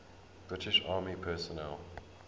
british army personnel